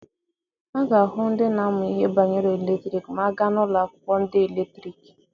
A ga-ahụ ndị na-amụ ihe banyere eletriki ma a gaa n'ụlọ akwụkwọ ndị eletriki.